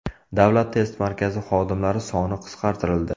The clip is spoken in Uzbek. Davlat test markazi xodimlari soni qisqartirildi.